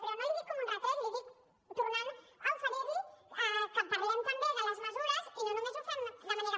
però no l’hi dic com un retret l’hi dic tornant a oferir li que parlem també de les mesures i no només ho fem de manera